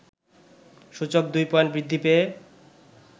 সূচক ২ পয়েন্ট বৃদ্ধি পেয়ে